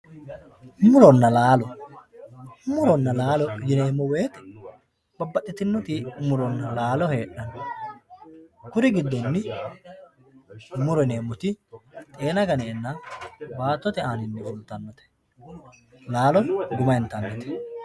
Murinna laalo, muronna laalo yineemo woyite babaxitinoyi muronna laalo heedhano kuri gidonni muro yineemoti xeena ganeenna baattotte aanninni fulitanote laalo guma intanite